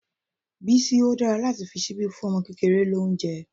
Bísí, ó dára láti fi ṣíbí fún ọmọ kékeré lóúnjẹ́.